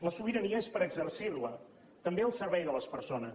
la sobirania és per exercir la també al servei de les persones